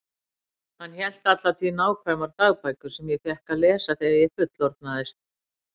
Hann hélt alla tíð nákvæmar dagbækur sem ég fékk að lesa þegar ég fullorðnaðist.